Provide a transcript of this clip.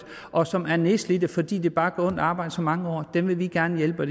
og som er nedslidte fordi de bare har så mange år dem vil vi gerne hjælpe